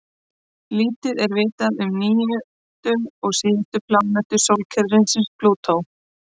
Lítið er vitað um níundu og síðustu plánetu sólkerfisins, Plútó.